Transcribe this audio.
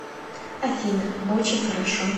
афина очень хорошо